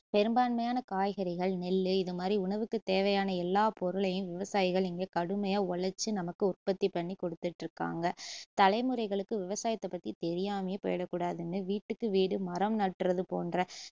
பெரும்பான்மையான காய்கறிகள், நெல்லு இதுமாதிரி உணவு தேவையான எல்லா பொருளையும் விவசாயிகள் இங்கு கடுமையா உழச்சு நமக்கு உற்பத்தி பண்ணி குடுத்துட்டுருக்காங்க தலைமுறைகளுக்கு விவசாயத்த பத்தி தெரியாமையே போயிடக்கூடாதுன்னு வீட்டுக்கு வீடு மரம் நடுறது போன்ற